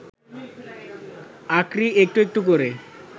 আক্রি একটু একটু করে